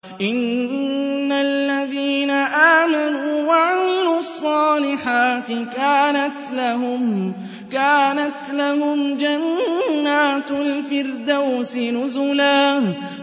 إِنَّ الَّذِينَ آمَنُوا وَعَمِلُوا الصَّالِحَاتِ كَانَتْ لَهُمْ جَنَّاتُ الْفِرْدَوْسِ نُزُلًا